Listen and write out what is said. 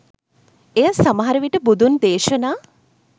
එය සමහරවිට බුදුන් දේශනා